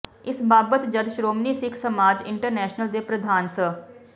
ਇਸ ਬਾਬਤ ਜਦ ਸ਼੍ਰੋਮਣੀ ਸਿੱਖ ਸਮਾਜ ਇੰਟਰਨੈਸ਼ਨਲ ਦੇ ਪ੍ਰਧਾਨ ਸ